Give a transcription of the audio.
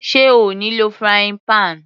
Sé O ní lò frying pan?